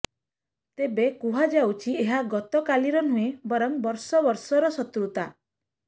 ତେବେ କୁହାଯାଉଛି ଏହା ଗତକାଲିର ନୁହେଁ ବରଂ ବର୍ଷ ବର୍ଷର ଶତ୍ରୁତା